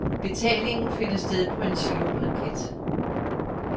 Betalingen finder sted på en giroblanket.